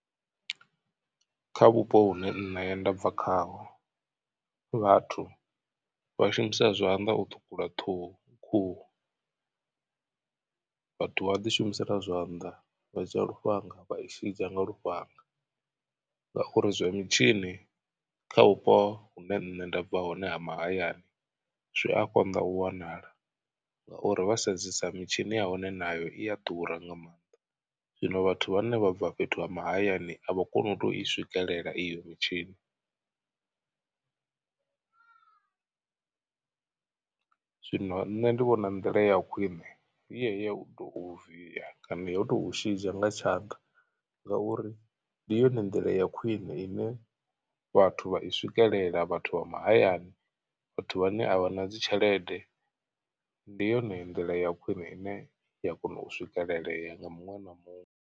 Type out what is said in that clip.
Kha vhupo vhune nṋe nda bva khaho vhathu vha shumisa zwanḓa u ṱhukhula ṱhuhu khuhu. Vhathu vha ḓi shumisela zwanḓa vha dzhia lufhanga vha i shidzha nga lufhanga ngauri zwa mitshini kha vhupo hune nṋe nda bva hone ha mahayani zwi a konḓa u wanala. Ngauri vha sedzesa mitshini ya hone nayo i a ḓura nga maanḓa zwino vhathu vhane vha bva fhethu ha mahayani a vha koni u tou i swikelela iyo mitshini . Zwino nṋe ndi vhona nḓila ya khwine i ya u tou viya kana u tou shidzha nga tshanḓa ngauri ndi yone nḓila ya khwine ine vhathu vha i swikelela vhathu vha mahayani vhathu vhane a vha na dzi tshelede ndi yone nḓila ya khwine ine ya kona u swikelelea nga muṅwe na muṅwe.